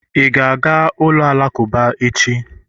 ị ga-aga ụlọ alakụba echi?